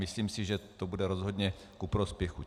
Myslím si, že to bude rozhodně ku prospěchu.